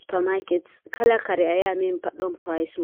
supa maaket kala kare ayahi amemi pat ɗon pirys mum.